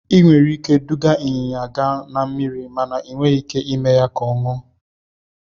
Ị nwere ike iduga ịnyịnya gaa na mmiri, ma ị nweghị ike ime ka ọ ṅụọ.